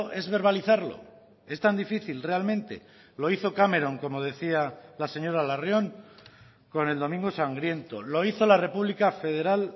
es verbalizarlo es tan difícil realmente lo hizo cameron como decía la señora larrion con el domingo sangriento lo hizo la república federal